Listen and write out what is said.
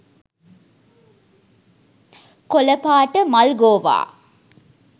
කොලපාට මල්ගෝවා .